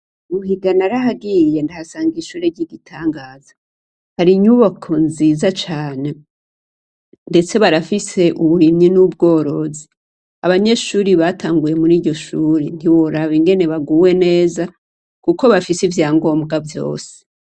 Buhiga narahagiye ndahasanga ishure ryigitangaza hari inyubako nziza cane ndetse barafise uburimyi nubworozi abanyeshure batanguye muri iryoshure ntiworaba ingene baguwe neza kuko bafise ivyangombwa vyose